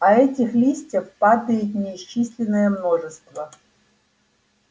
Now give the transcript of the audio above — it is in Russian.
а этих листьев падает неисчислимое множество